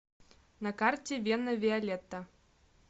на карте вена виолетта